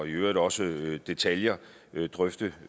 øvrigt også detaljer til at drøfte